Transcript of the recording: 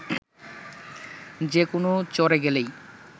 যে কোনো চরে গেলেই